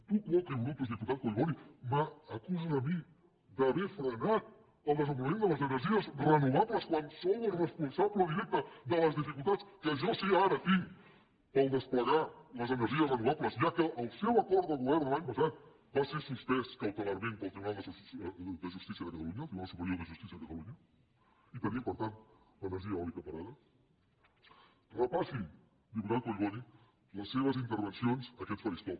tu quoquetus diputat collboni m’acuses a mi d’haver frenat el desenvolupament de les energies renovables quan sou els responsables directes de les dificultats que jo sí ara tinc per desplegar les energies renovables ja que el seu acord de govern de l’any passat va ser suspès cautelarment pel tribunal de justícia de catalunya el tribunal superior de justícia de catalunya i tenim per tant l’energia eòlica parada repassi diputat collboni les seves intervencions a aquest faristol